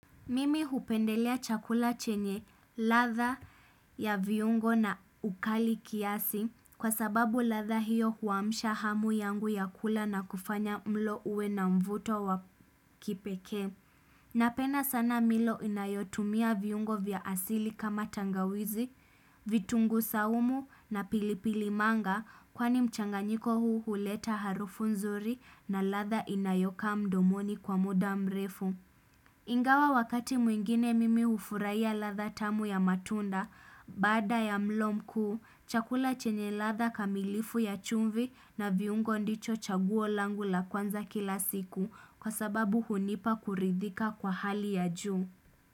Mimi hupendelea chakula chenye ladha ya viungo na ukali kiasi kwa sababu ladha hiyo huamusha hamu yangu ya kula na kufanya mlo uwe na mvuto wa kipeke. Napenda sana milo inayotumia viungo vya asili kama tangawizi, vitunguu saumu na pilipili manga kwani mchanganyiko huu huleta harufu nzuri na latha inayoka mdomoni kwa muda mrefu. Ingawa wakati mwingine mimi hfurahia ladha tamu ya matunda, bada ya mlo mkuu, chakula chenye ladha kamilifu ya chumvi na viungo ndicho chaguo langu la kwanza kila siku kwa sababu hunipa kuridhika kwa hali ya juu.